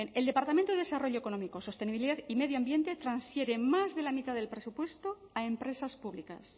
el departamento de desarrollo económico sostenibilidad y medio ambiente transfiere más de la mitad del presupuesto a empresas públicas